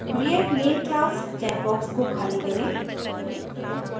create main class checkbox को खाली करें